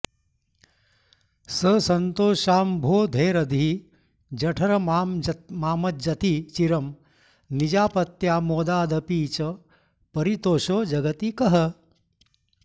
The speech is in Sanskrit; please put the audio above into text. स सन्तोषाम्भोधेरधिजठरमामज्जति चिरं निजापत्यामोदादपि च परितोषो जगति कः